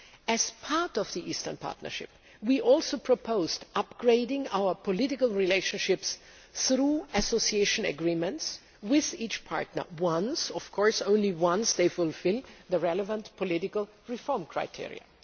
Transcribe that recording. As part of the Eastern Partnership, we also proposed upgrading our political relationships through association agreements with each partner but only once they have fulfilled the relevant political reform criteria.